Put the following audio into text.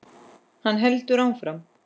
Hann heldur áfram.